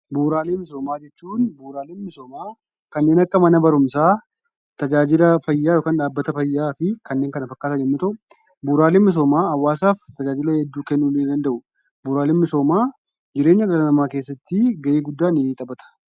Bu'uraalee misoomaa Bu'uraalee misoomaa jechuun bu'uraaleen misoomaa kanneen akka Mana barumsaa, tajaajila fayyaa yookaan dhaabbata fayyaa fi kanneen kana fakkaatan yoo ta'u, bu'uraaleen misoomaa hawaasaaf tajaajila hedduu kennuu nii danda'u. Bu'uraaleen misoomaa jireenya dhala namaa kessatti gahee guddaa ni taphata.